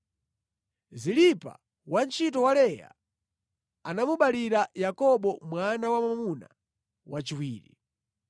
Zilipa, wantchito wa Leya anamubalira Yakobo mwana wa mwamuna wachiwiri.